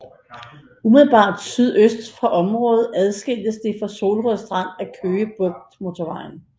Umiddelbart sydøst for området adskilles det fra Solrød Strand af Køge Bugt Motorvejen